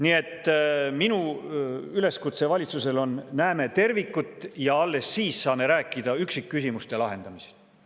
Nii et minu üleskutse valitsusele on, et näeme tervikut ja alles siis saame rääkida üksikküsimuste lahendamisest.